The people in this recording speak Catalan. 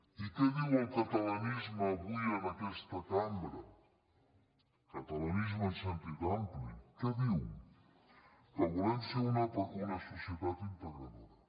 i què diu el catalanisme avui en aquesta cambra el catalanisme en sentit ampli què diu que volem ser una societat integradora